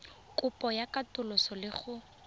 kopo ya katoloso le go